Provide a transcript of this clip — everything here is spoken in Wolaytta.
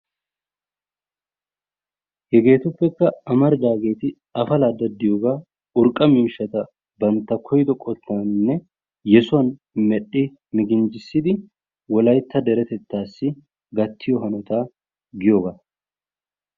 Hegeetuppekka amaridaageeti, afalaa daddiyogaa, urqqa miishshata bantta koyido qottaninne yesuwan medhdhi miginjjissidi Wolaytta deretettaassi gattiyo hanotaa giyogaa.